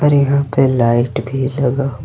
यहां पे लाइट भी लगा--